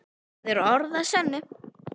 Það er orð að sönnu.